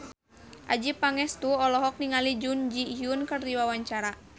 Adjie Pangestu olohok ningali Jun Ji Hyun keur diwawancara